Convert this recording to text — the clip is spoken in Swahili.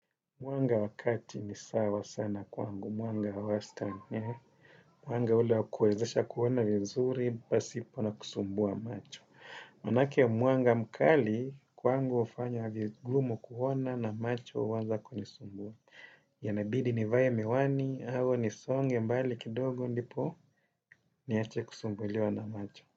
Mwanga wa kati ni sawa sana kwangu. Mwanga wa wastani. Mwanga ule wa kuwezesha kuona vizuri, pasipo na kusumbua macho. Maana yake mwanga mkali, kwangu hufanya vigumu kuona na macho huanza kunisumbua. Yanabidi nivae miwani au nisonge mbali kidogo ndipo, niache kusumbuliwa na macho.